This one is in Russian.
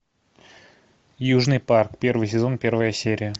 южный парк первый сезон первая серия